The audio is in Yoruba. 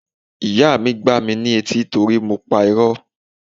Ìyá mi gbá mi ní etí torí mo pa irọ́.